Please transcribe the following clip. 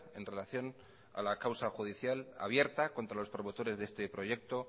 en relación a la causa judicial abierta contra los promotores de este proyecto